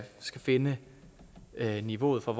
skal finde niveauet for